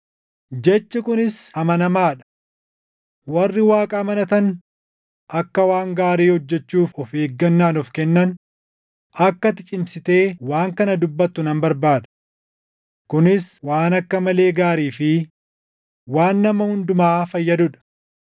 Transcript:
Jechi kunis amanamaa dha. Warri Waaqa amanatan akka waan gaarii hojjechuuf of eeggannaan of kennan, akka ati cimsitee waan kana dubbattu nan barbaada. Kunis waan akka malee gaarii fi waan nama hundumaa fayyaduu dha.